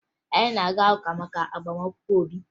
Anyị na-aga ụka maka agbamakwụkwọ Obi